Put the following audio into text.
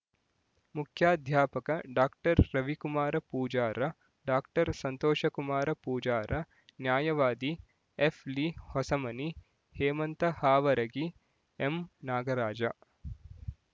ಮುಖ್ಯಾಧ್ಯಾಪಕ doctor Ravikumar Pujara doctor Santoshkumar Pujara ನ್ಯಾಯವಾದಿ ಎಫ್ಲಿ ಹೊಸಮನಿ ಹೇಮಂತ ಹಾವರಗಿ ಎಂನಾಗರಾಜ